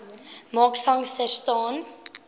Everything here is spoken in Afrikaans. mark sangster staan